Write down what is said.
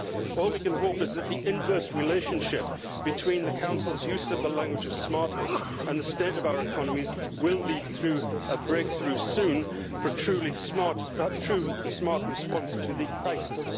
All that we can hope is that the inverse relationship between the Council's use of the language of smartness' and the state of our economies will lead to a breakthrough soon for a true smart response to the crisis.